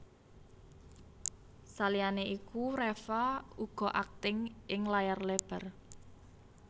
Saliyané iku Reva uga akting ing layar lebar